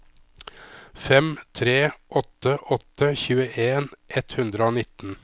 fem tre åtte åtte tjueen ett hundre og nitten